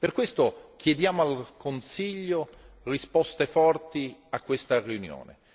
Per questo chiediamo al Consiglio risposte forti a questa riunione.